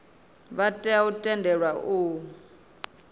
vha tea u tendelwa u